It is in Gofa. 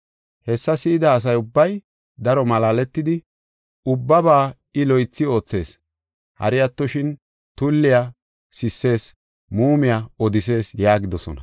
Hessa si7ida asa ubbay daro malaaletidi, “Ubbabaa I loythi oothees. Hari attoshin, tulliya sissees, muumiya odisees” yaagidosona.